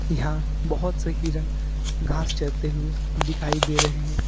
यहां बहोत से हिरण घास चरते हुए दिखाई दे रहे हैं।